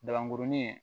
Dabankurunin